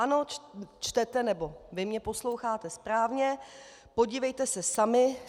Ano, čtete, nebo vy mě posloucháte, správně, podívejte se sami.